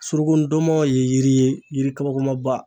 Suruku ndɔnmɔn ye yiri ye yiri kabakomaba